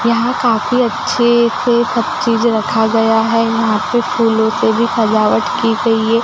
यहां काफी अच्छे से सब चीज रखा गया है यहां पे फूलों से भी सजावट की गई है।